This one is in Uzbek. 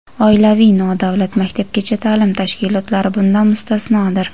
oilaviy nodavlat maktabgacha taʼlim tashkilotlari bundan mustasnodir.